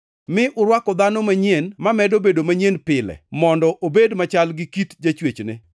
mi urwako dhano manyien mamedo bedo manyien pile mondo obed machal gi kit jachwechne.